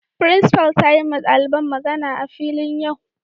Frincipa'n ta yi ma dalibain magana a'filin yau.